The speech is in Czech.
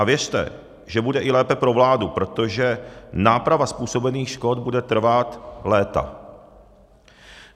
A věřte, že bude i lépe pro vládu, protože náprava způsobených škod bude trvat léta.